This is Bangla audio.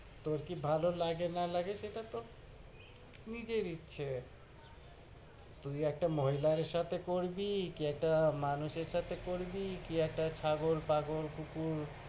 তোর কি ভালো লাগে, সেটা তোর নিজের ইচ্ছা। তুই একটা মহিলার সাথে করবি, কি একটা মানুষের সাথে করবি, কি একটা ছাগল, পাগল, কুকুর,